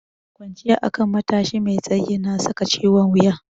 Kwanciya akan matashi mai tsayi na saka ciwon wuya.